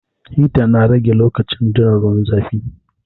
Hita na rage lokacin jiran ruwan zafi